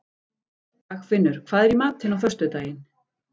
Dagfinnur, hvað er í matinn á föstudaginn?